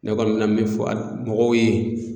Ne kɔni me na min fɔ a mɔgɔw ye.